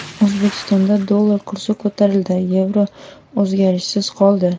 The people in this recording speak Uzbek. O‘zbekistonda dollar kursi ko‘tarildi, yevro o‘zgarishsiz qoldi.